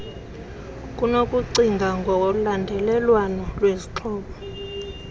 kunokucinga ngolandelelwano lwezixhobo